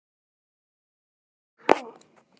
Æ-já, hann.